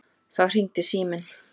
Þá hringdi síminn.